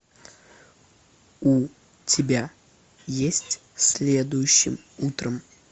у тебя есть следующим утром